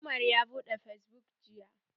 Umar ya buɗe fesbuk jiya.